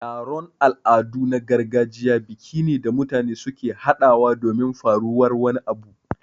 Taron Al'adu na gargajiya biki ne da mutane suke haɗawa domin faruwar wani abu